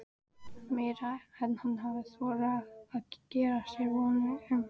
Meira en hann hafði þorað að gera sér vonir um.